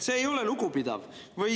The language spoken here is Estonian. See ei ole lugupidav.